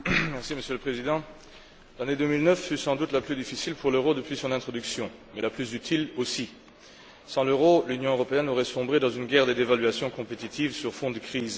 Monsieur le Président, l'année 2009 fut sans doute la plus difficile pour l'euro depuis son introduction, mais la plus utile aussi. Sans l'euro, l'Union européenne aurait sombré dans une guerre des dévaluations concurrentielles sur fond de crise.